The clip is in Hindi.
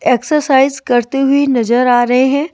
एक्सरसाइज करते हुई नजर आ रहे हैं।